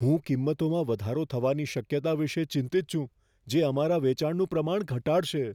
હું કિંમતોમાં વધારો થવાની શક્યતા વિશે ચિંતિત છું, જે અમારા વેચાણનું પ્રમાણ ઘટાડશે.